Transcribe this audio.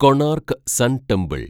Konark sun temple